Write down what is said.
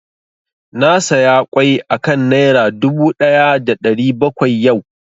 Na saya ƙwai a kan Naira dubu ɗaya da ɗari bakwai yau